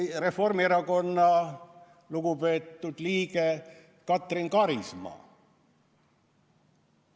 Või Reformierakonna lugupeetud liige Katrin Karisma.